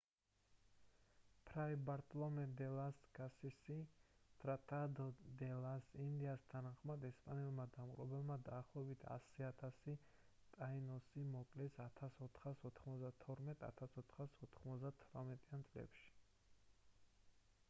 ფრაი ბარტოლომე დე ლას კასასის tratado de las indias თანახმად ესპანელმა დამპყრობლებმა დაახლოებით 100,0000 ტაინოსი მოკლეს 1492-1498 წლებში